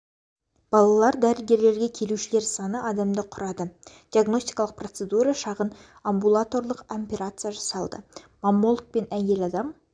балалар дәрігерлерге келушілер саны адамды құрады диагностикалық процедура шағын амбулаторлық операция жасалды маммологпен әйел адам